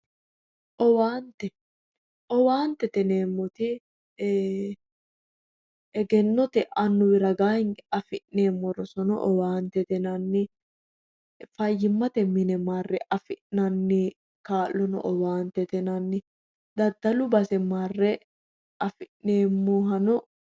Owaantete yineemmoti egennote annuwi ragaa hinge afi'neemmo rosono owaantete yinanni fayyimmate mine marre afi'nanni kaa'lono owaantete yinanni daddalu base marre afi'neemmohano